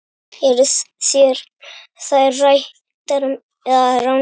Eru þær réttar eða rangar?